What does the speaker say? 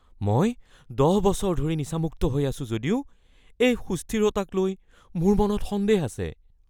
মই ১০ বছৰ ধৰি নিচামুক্ত হৈ আছো যদিও এই সুস্থিৰতাকলৈ মোৰ মনত সন্দেহ আছে।